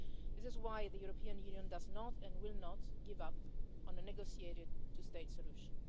This is why the European Union does not and will not give up on a negotiated two state solution.